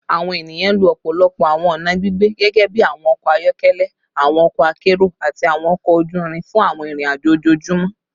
Awọn eniyan lo ọpọlọpọ awọn ọna gbigbe gẹgẹbi awọn ọkọ ayọkẹlẹ, awọn ọkọ akero, ati awọn ọkọ oju irin fun awọn irin-ajo ojoojumọ